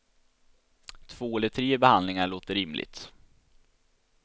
Två eller tre behandlingar låter rimligt.